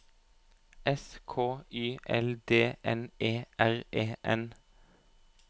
S K Y L D N E R E N